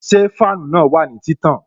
Ṣé fáànù na wà ní títàn?